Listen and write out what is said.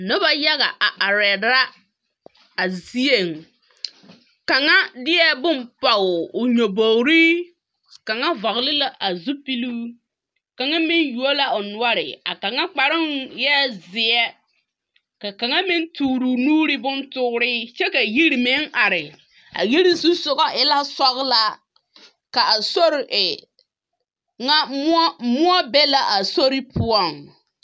Noba yaga a arԑԑ la a zieŋ. Kaŋa deԑ bone pͻge o nyobogirii, kaŋa vͻgele la a zupiluu, kaŋa meŋ yuo la o noͻre. A kaŋa kparoŋ eԑԑ zeԑ, ka kaŋa meŋ tooroo nuuri bontooree kyԑ ka yiri meŋ are. A yiri zusoŋͻ e la sͻgelaa, ka a sori e ŋa mõͻ, mõͻ be la a sori poͻŋ.